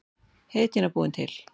Heydýna búin til.